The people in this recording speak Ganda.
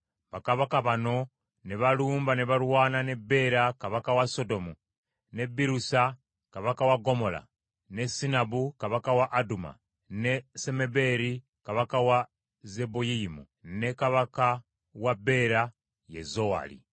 bakabaka bano ne balumba ne balwana ne Bbeera kabaka wa Sodomu, ne Bbiruusa kabaka wa Ggomola, ne Sinaabu kabaka wa Aduma, ne Semebeeri kabaka wa Zeboyiyimu ne kabaka wa Bera, ye Zowaali.